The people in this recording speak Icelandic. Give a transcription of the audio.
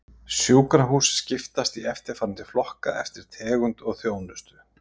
Sjúkrahús skiptast í eftirfarandi flokka eftir tegund og þjónustu